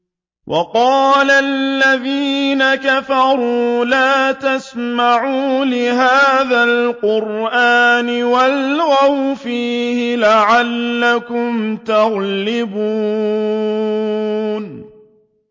وَقَالَ الَّذِينَ كَفَرُوا لَا تَسْمَعُوا لِهَٰذَا الْقُرْآنِ وَالْغَوْا فِيهِ لَعَلَّكُمْ تَغْلِبُونَ